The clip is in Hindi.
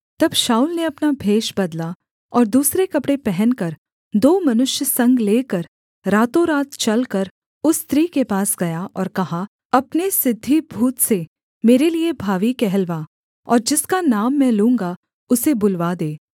तब शाऊल ने अपना भेष बदला और दूसरे कपड़े पहनकर दो मनुष्य संग लेकर रातोंरात चलकर उस स्त्री के पास गया और कहा अपने सिद्धि भूत से मेरे लिये भावी कहलवा और जिसका नाम मैं लूँगा उसे बुलवा दे